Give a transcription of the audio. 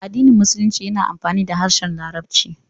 Addinin Musulunci yana amfani da harshen Larabci.